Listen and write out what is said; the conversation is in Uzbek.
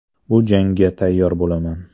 Bu jangga tayyor bo‘laman.